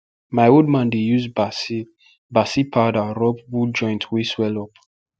my old man dey use basil basil powder rub bull joint wey swell up